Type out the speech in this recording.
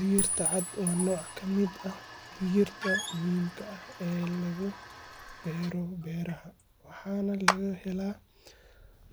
Digirta caad wa noc kamid ah digirta muxiim ah oo lagubero beraha, wahana lagahela